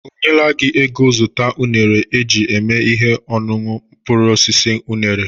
O nyela gị ego zụta unere e ji eme ihe ọñuñụ mkpụrụosisi unere?